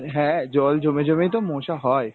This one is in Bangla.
হ্যাঁ, জল জমে জমেই তো মশা হয়।